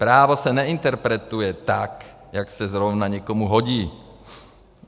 Právo se neinterpretuje tak, jak se zrovna někomu hodí.